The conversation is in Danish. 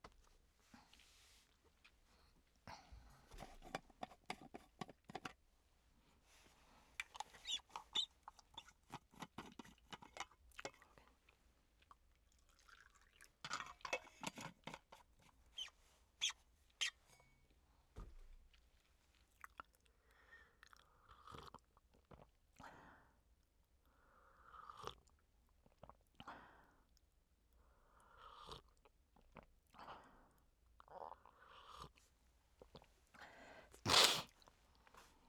Mandag d. 6. marts 2017